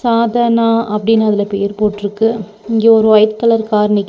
சாதன அப்டினு அதுல பேர் போட்ருக்கு இங்க ஒரு வைட் கலர் கார் நிக்கிது.